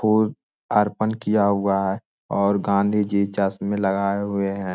पूर्व अर्पण किया हुआ है और गांधी जी चश्में लगाए हुए है।